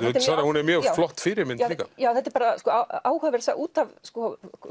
hún er mjög flott fyrirmynd líka þetta er bara áhugaverð saga út af